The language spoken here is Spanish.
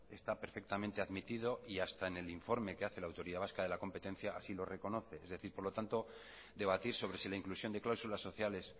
está perfectamente admitido y hasta en el informa que hace la autoridad vasca de la competencia así lo reconoce por lo tanto debatir sobre si la inclusión de cláusulas sociales